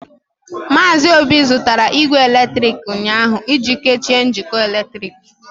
Maazị Obi zụtara igwe eletrịkị ụnyaahụ iji kechie njikọ eletrik.